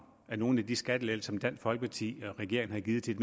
af nogle af de skattelettelser som dansk folkeparti og regeringen har givet til